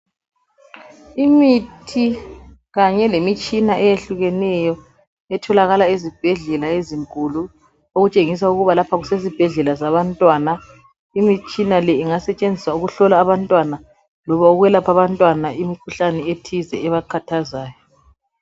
Imithi kanye lemitshina eyehlukeneyo etholakala ezibhedlela ezinkulu okutshengisa ukuba laoha kusesibhedlela sabantwana. Imitshina le ingasetshenziswa ukuhlola abantwana loba ukwelapha abantwana imikhuhlane ethize ebakhathazayo.